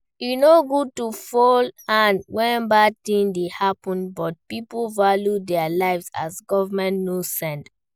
E no good to fold hand when bad thing dey happen but pipo value their lives as government no send